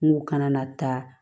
Kungo kana na taa